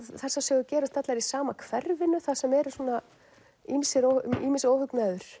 þessar sögur gerast allar í sama hverfinu þar sem er er svona ýmiss ýmiss óhugnaður